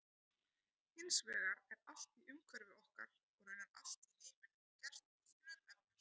Hins vegar er allt í umhverfi okkar og raunar allt í heiminum gert úr frumefnum.